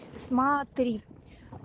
смотри